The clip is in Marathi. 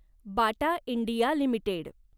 Bata India limited